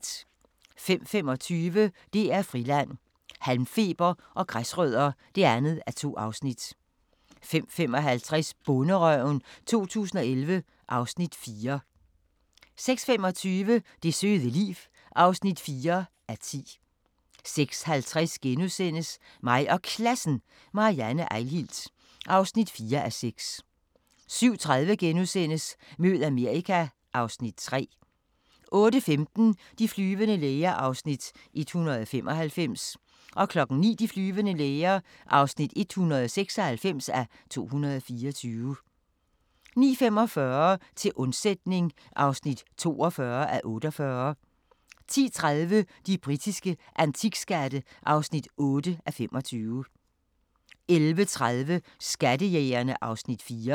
05:25: DR Friland: Halmfeber og græsrødder (2:2) 05:55: Bonderøven 2011 (Afs. 4) 06:25: Det søde liv (4:10) 06:50: Mig og Klassen – Marianne Eihilt (4:6)* 07:30: Mød Amerika (Afs. 3)* 08:15: De flyvende læger (195:224) 09:00: De flyvende læger (196:224) 09:45: Til undsætning (42:48) 10:30: De britiske antikskatte (8:25) 11:30: Skattejægerne (Afs. 4)